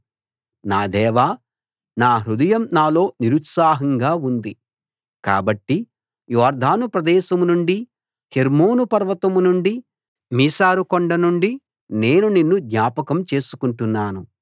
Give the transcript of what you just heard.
నా దేవా నా హృదయం నాలో నిరుత్సాహంగా ఉంది కాబట్టి యొర్దాను ప్రదేశం నుండీ హెర్మోను పర్వతం నుండీ మిసారు కొండ నుండీ నేను నిన్ను జ్ఞాపకం చేసుకుంటున్నాను